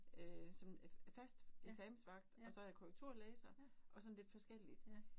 Øh som øh fast eksamensvagt og så jeg korrekturlæser og sådan lidt forskelligt